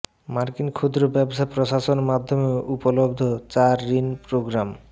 মার্কিন ক্ষুদ্র ব্যবসা প্রশাসন মাধ্যমে উপলব্ধ চার ঋণ প্রোগ্রাম